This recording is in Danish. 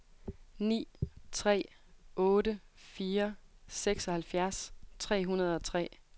ni tre otte fire seksoghalvfjerds tre hundrede og tre